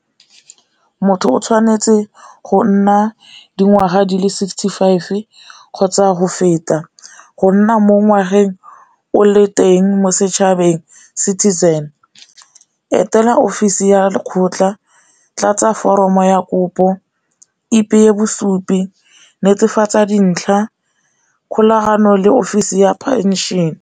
Motho o tshwanetse go nna dingwaga di le sixty five kgotsa go feta, go nna mo ngwageng o le teng mo setšhabeng citizen. Etela ofisi ya lekgotla, tlatsa foromo ya kopo, ipeye bosupi, netefatsa dintlha kgolagano le ofisi ya phenšene.